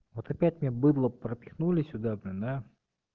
вот опять мне быдло пропихнули сюда блин да